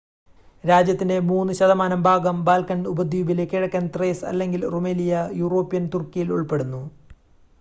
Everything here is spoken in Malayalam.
രാജ്യത്തിന്റെ 3% ഭാഗം ബാൽക്കൻ ഉപദ്വീപിലെ കിഴക്കൻ ത്രേസ് അല്ലെങ്കിൽ റുമെലിയ യൂറോപ്യൻ തുർക്കിയിൽ ഉൾപ്പെടുന്നു